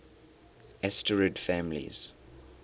asterid families